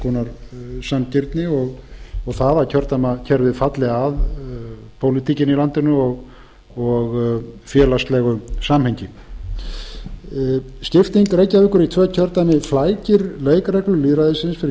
konar sanngirni og að kjördæmakerfið falli að pólitíkinni í landinu og félagslegu samhengi skipting reykjavíkur í tvö kjördæmi flækir leikreglur lýðræðisins fyrir